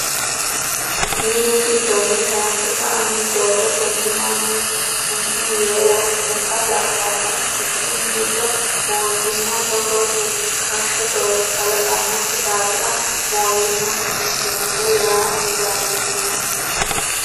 Minu giddoni tayse sa'nanni doogo tene mannu summu yee wodhinotta labbanoe ,quchumu giddo mootimma togo rukkasho doogo kalaqanokki daafira mootimma fushitinote yaa didandiinanni.